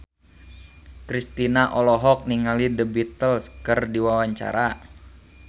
Kristina olohok ningali The Beatles keur diwawancara